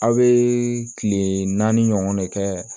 Aw bɛ kile naani ɲɔgɔn de kɛ